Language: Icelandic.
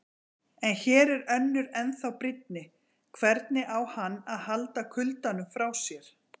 En hér er önnur ennþá brýnni: hvernig á hann að halda kuldanum frá sér?